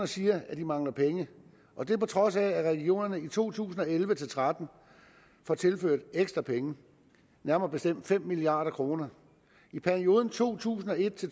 siger at de mangler penge og det på trods af at regionerne i to tusind og elleve til tretten får tilført ekstra penge nærmere bestemt fem milliard kroner i perioden to tusind og et